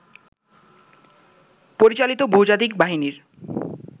পরিচালিত বহুজাতিক বাহিনীর